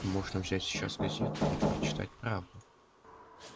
можно взять сейчас газету и прочитать правду